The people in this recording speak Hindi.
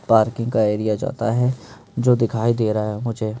पार्किंग का एरिया जाता है जो दिखाई दे रहा है मुझे--